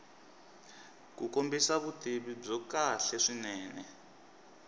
kombisa vutivi byo kahle swinene